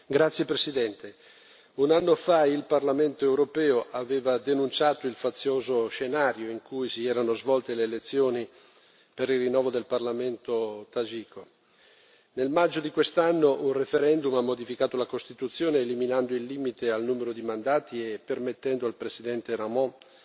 Signor Presidente, onorevoli colleghi, un anno fa il Parlamento europeo aveva denunciato il fazioso scenario in cui si erano svolte le elezioni per il rinnovo del Parlamento tagiko. Nel maggio di quest'anno un referendum ha modificato la Costituzione, eliminando il limite al numero di mandati e permettendo al Presidente Rahmon,